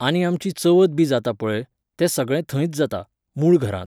आनी आमची चवथ बी जाता पळय, तें सगळें थंयच जाता, मूळ घरांत.